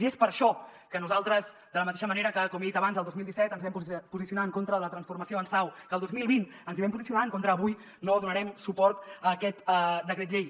i és per això que nosaltres de la mateixa manera que com he dit abans el dos mil disset ens vam posicionar en contra de la transformació en sau que el dos mil vint ens hi vam posicionar en contra avui no donarem suport a aquest decret llei